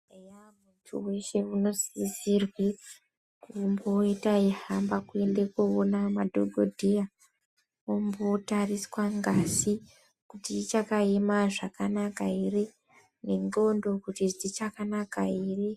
Muntu weshe unosisirwe kumboita eihamba kuenda koona madhokodheya ombotariswa ngazi kuti ichakaema zvakanaka here, nendxondo kuti dzichakanaka here.